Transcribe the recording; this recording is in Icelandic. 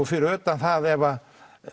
fyrir utan það ef